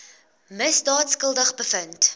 misdaad skuldig bevind